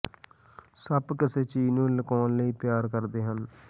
ਸੱਪ ਕਿਸੇ ਚੀਜ਼ ਨੂੰ ਲੁਕਾਉਣ ਲਈ ਪਿਆਰ ਕਰਦੇ ਹਨ